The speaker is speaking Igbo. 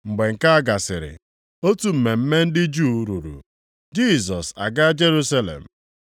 Mgbe nke a gasịrị, otu mmemme ndị Juu ruru, Jisọs agaa Jerusalem.